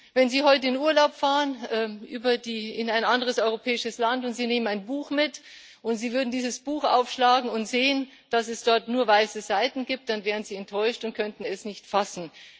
Wenn Sie heute in Urlaub fahren in ein anderes europäisches Land und Sie nehmen ein Buch mit, und Sie würden dieses Buch aufschlagen und sehen, dass es dort nur weiße Seiten gibt, dann wären Sie enttäuscht und könnten es nicht fassen.